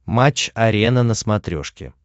матч арена на смотрешке